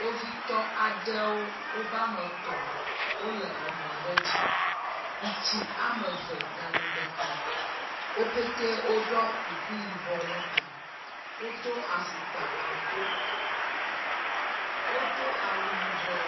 Kpovitɔ aɖewo woƒe ame etɔ̃ wole mɔ aɖe dzi. Ŋutsu ame eve nyanu ɖeka. Wo petɛ woɖɔ kuku yibɔ ɖe ta. Wodo afɔkpa aŋko. Wodo awu yibɔ.